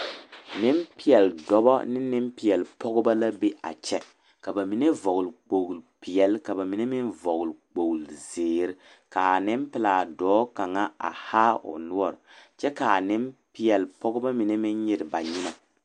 Nempeɛle dɔbɔ ne nempeɛle pɔgeba la be a kyɛ ka ba mine vɔgle kpori peɛle kyɛ ka ba mine meŋ vɔgle kpori zeere ka a nempɛlaa dɔɔ kaŋa haa o noɔre kyɛ ka a nempeɛle pɔgeba meŋ nyere ba nyemɛ.